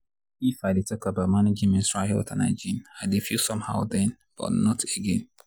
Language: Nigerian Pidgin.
if i dey talk about managing menstrual health and hygiene i dey feel somehow then but not again.